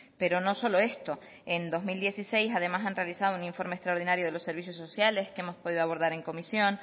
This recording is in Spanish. pero no solo esto en dos mil dieciséis además han realizado un informe extraordinario de los servicios sociales que hemos podido abordar en comisión